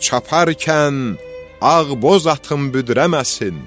Çaparkən ağ boz atın büdrəməsin.